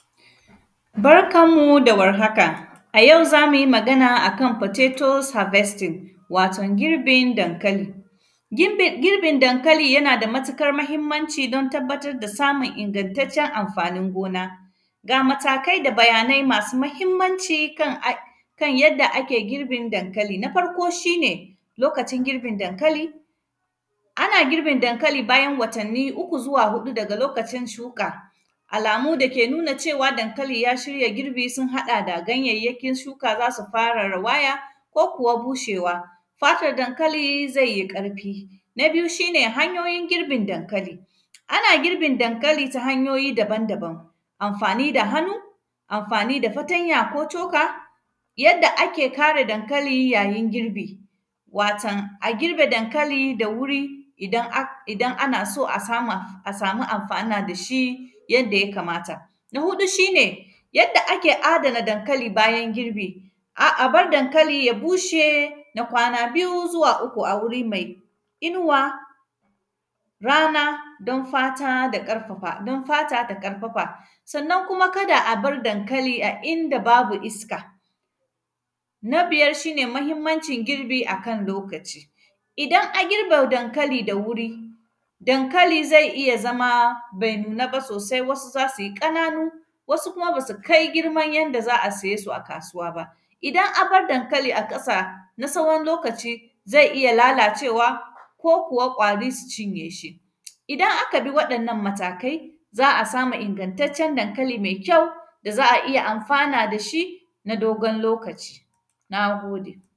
Barkan mu da warhaka, a yau za mu yi magan ne a kan “potatos harvesting”, waton girbindankali. Girbin, girbin dankali, yana da matikar mahimmanci, don tabbatar da samun ingantaccen amfanin gona. Ga matakai da bayanai masu mahimmanci kan ai; kan yadda ake girbin dankali, na farko, shi ne lokacin girbin dankali. Ana girbin dankali bayan watanni uku zuwa huɗu daga lokacin shuƙa. Alamu da ke nuna cewa, dankali ya shirya girbi, sun haɗa da: ganyayyakin shuka za su fara rawaya, ko kuwa bushewa, fatar dankali ze yi ƙarfi. Na biyu, shi ne hanyoyin girbin dankali, ana girbin dankali ta hanyoyi daban-daban, amfani da hanu, amfani da fatanya ko coka. Yadda ake kare dankali yayin girbi, waton a girbe dankali da wuri, idan ak; idan ana so a sama, a samu amfana da shi, yadda ya kamata. Na huɗu, shi ne yadda ake adana dankali bayan girbi. A; a bar dankali ya bushe na kwana biyu zuwa uku a wuri mai inuwa, rana, don fata da ƙarfafa, don fata ta ƙarafa. Sannan kuma, kada a bar dankali a inda babu iska, na biyar, shi ne mahimmancin girbi a kan lokaci, idan a girbe dankali da wuri, dankali zai iya zama bai nuna ba sosai, wasu za si ƙananu, wasu kuma ba si kai girman yanda za a saye su a kasuwa ba. Idan a bar dankali a ƙasa, na sawon lokaci, zai iya lalacewa ko kuwa ƙwari su cinye shi. Idan aka bi waɗannan matakai, za a samu ingantaccen dankali mai kyau, da za a iya amfana da shi, na dogon lokaci, na gode.